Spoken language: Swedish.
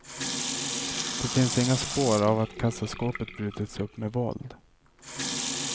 Det finns inga spår av att kassaskåpet brutits upp med våld.